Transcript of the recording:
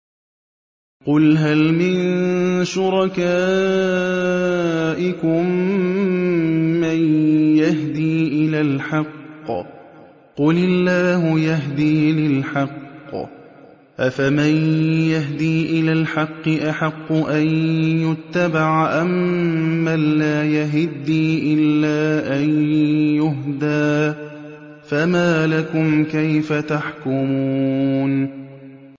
قُلْ هَلْ مِن شُرَكَائِكُم مَّن يَهْدِي إِلَى الْحَقِّ ۚ قُلِ اللَّهُ يَهْدِي لِلْحَقِّ ۗ أَفَمَن يَهْدِي إِلَى الْحَقِّ أَحَقُّ أَن يُتَّبَعَ أَمَّن لَّا يَهِدِّي إِلَّا أَن يُهْدَىٰ ۖ فَمَا لَكُمْ كَيْفَ تَحْكُمُونَ